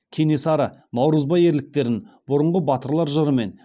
кенесары наурызбай ерліктерін бұрынғы батырлар жыры мен